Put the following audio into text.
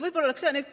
See oleks soovitus.